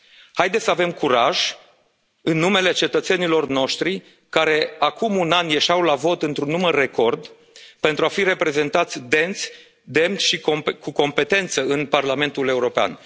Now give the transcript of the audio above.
împreună. Haideți să avem curaj, în numele cetățenilor noștri, care acum un an ieșeau la vot într un număr record pentru a fi reprezentați decent, demn și cu competență în Parlamentul